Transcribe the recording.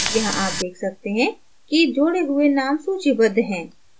यहाँ आप देख सकते हैं कि जोड़े हुए names सूचीबद्ध हैं